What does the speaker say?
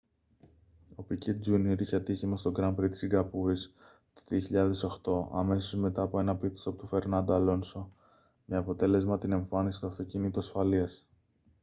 ο πικέ τζούνιορ είχε ατύχημα στο γκραν πρι της σιγκαπούρης το 2008 αμέσως μετά από ένα πιτ στοπ του φερνάντο αλόνσο με αποτέλεσμα την εμφάνιση του αυτοκινήτου ασφαλείας